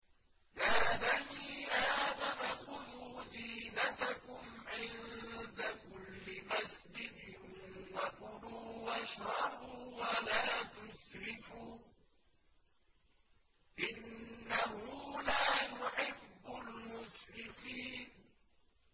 ۞ يَا بَنِي آدَمَ خُذُوا زِينَتَكُمْ عِندَ كُلِّ مَسْجِدٍ وَكُلُوا وَاشْرَبُوا وَلَا تُسْرِفُوا ۚ إِنَّهُ لَا يُحِبُّ الْمُسْرِفِينَ